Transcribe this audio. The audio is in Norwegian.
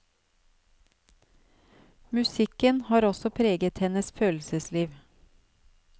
Musikken har også preget hennes følelsesliv.